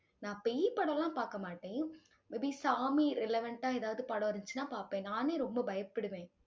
நான் பேய் படம்லாம் பார்க்க மாட்டேன். may be சாமி relevant ஆ எதாவது படம் இருந்துச்சுன்னா பார்ப்பேன். நானே ரொம்ப பயப்படுவேன்